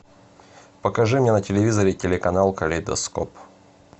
покажи мне на телевизоре телеканал калейдоскоп